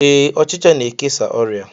Ee, ọchịcha na-ekesa ọrịa